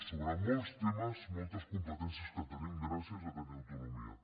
sobre molts temes moltes competències que tenim gràcies a tenir autonomia